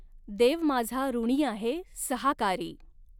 देव माझा ॠणी आहे सहाकारी।